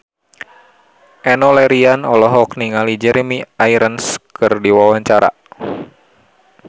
Enno Lerian olohok ningali Jeremy Irons keur diwawancara